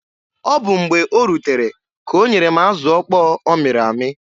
Ọ bụ mgbe o rutere ka o nyere m azụ okpo ọ mịrị amị.